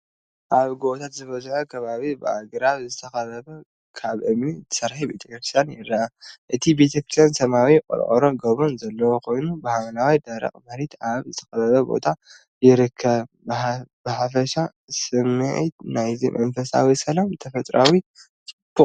ኣብ ጎቦታት ዝበዝሖ ከባቢ ብኣግራብ ዝተኸበበ ካብ እምኒ ዝተሰርሐ ቤተክርስትያን ይርአ። እቲ ቤተክርስትያን ሰማያዊ ቆርቆሮ ጎቦን ዘለዎ ኮይኑ ብሓምላይን ደረቕ መሬትን ኣብ ዝተኸበበ ቦታ ይርከብ። ብሓፈሻ ስሚዒት ናይዚ መንፈሳዊ ሰላምን ተፈጥሮኣዊ ጽባቐን እዩ።